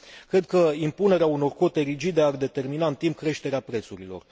Cred că impunerea unor cote rigide ar determina în timp creșterea prețurilor.